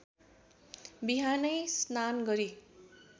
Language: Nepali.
बिहानै स्नान गरी